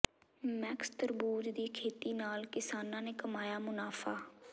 Max ਤਰਬੂਜ ਦੀ ਖੇਤੀ ਨਾਲ ਕਿਸਾਨਾਂ ਨੇ ਕਮਾਇਆ ਮੁਨਾਫਾ